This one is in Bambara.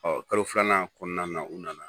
Ɔ kalo filanan kɔnɔna na u nana